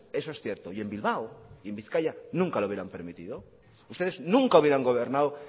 eso es cierto y en bilbao en bizkaia nunca lo hubieran permitido ustedes nunca hubieran gobernado